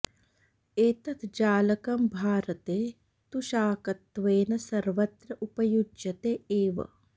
एतत् जालकम् भारते तु शाकत्वेन सर्वत्र उपयुज्यते एव